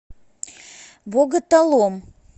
боготолом